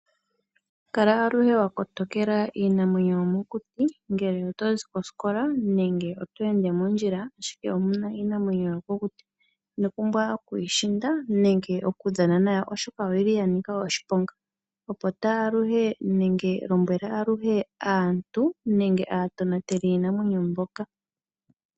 Kala aluhe wa kotokela iinamwenyo yomokuti ngele otozi kosikola nenge oto ende mondjila ashike omuna iinamwenyo yomokuti, lombwela aluhe aantu nenge aatonateli yiinamwenyo mbyoka .